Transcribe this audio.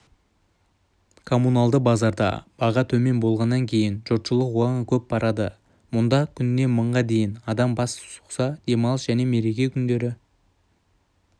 коммуналды базарда баға төмен болғаннан кейін жұртшылық оған көп барады мұнда күніне мыңға дейін адам бас сұқса демалыс және мереке күндері